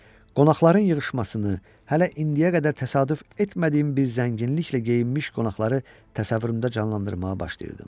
qonaqların yığışmasını, hələ indiyə qədər təsadüf etmədiyim bir zənginliklə geyinmiş qonaqları təsəvvürümdə canlandırmağa başlayırdım.